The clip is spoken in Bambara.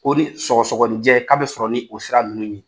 O de ye sɔgɔsɔgɔninjɛ k'a bɛ sɔrɔ ni o sira ninnu ye.